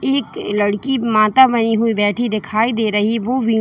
एक लड़की माता बनी हुई बैठी दिखाई दे रही वो विन--